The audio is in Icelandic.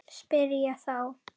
spyr ég þá.